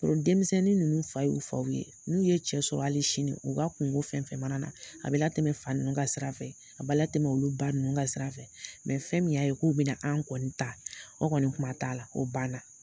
denmisɛnnin ninnu fa y'u faw ye , n'u ye cɛ sɔrɔ hali sini u ka kun ko fɛn fɛn mana na a be latɛmɛ fa nunnu ka sira fɛ a bi latɛmɛ olu ba nunnu ka sira fɛ. fɛn min y'a ye k'u bi na anw kɔni ta o kɔni kuma t'a la o ban na.